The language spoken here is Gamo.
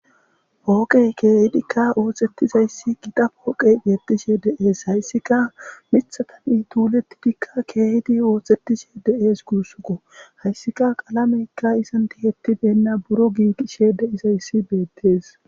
pooqey keehidikka oohxettizayssi gida pooqey geetishe de7ees hayssika mithatani tuulettidikka keehidi oothtettishe de7ees guussuko hayssika qalameykka isantihetti deenna buro giiqishe de izayssi beettees